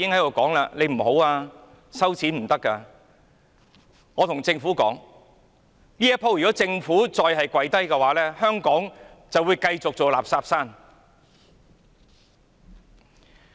我要對政府說，如果政府這次再"跪低"，香港便會繼續做"垃圾山"。